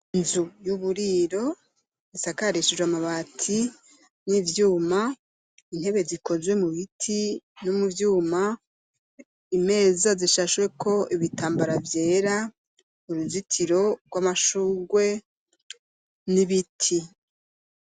Inzu y'uburiro, isakarishijwe amabati n'ivyuma, intebe zikozwe mu biti, no mu vyuma; imeza, zishashweko ibitambara vyera, uruzitiro rw'amashurwe, n'ibiti.